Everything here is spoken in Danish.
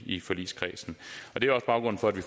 i forligskredsen det er også baggrunden for at vi